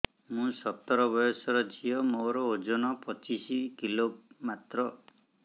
ମୁଁ ସତର ବୟସର ଝିଅ ମୋର ଓଜନ ପଚିଶି କିଲୋ ମାତ୍ର